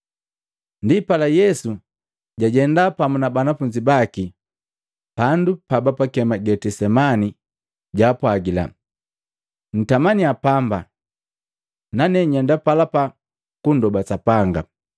Ndipala Yesu jajenda pamu na banafunzi baki pandu pabapakema Getisemani, jaapwajila, “Ntamaniya pamba nane nyenda palapa kundoba Sapanga.”